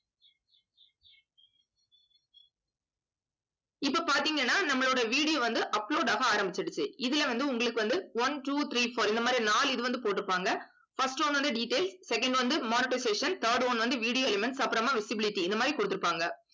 இப்ப பார்த்தீங்கன்னா நம்மளோட video வந்து upload ஆக ஆரம்பிச்சிடுச்சு. இதுல வந்து உங்களுக்கு வந்து one two three four இந்த மாதிரி நாலு இது வந்து போட்டிருப்பாங்க. first one வந்து details second வந்து monetisation third one வந்து video elements அப்புறமா visibility இந்த மாதிரி கொடுத்திருப்பாங்க.